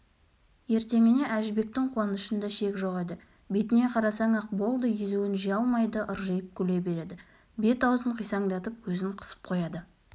ертеңіне әжібектің қуанышында шек жоқ еді бетіне қарасаң-ақ болды езуін жия алмайды ыржиып күле береді бет-аузын қисаңдатып көзін қысып қояды